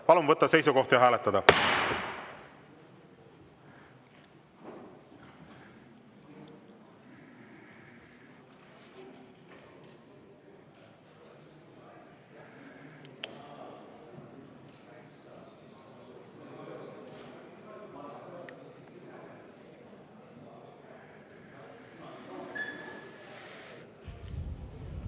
Palun võtta seisukoht ja hääletada!